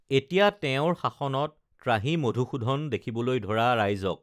এতিয়া তেওঁৰ শাসনত ত্ৰাহি মধুসূধন দেখিবলৈ ধৰা ৰাইজক